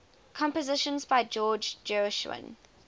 compositions by george gershwin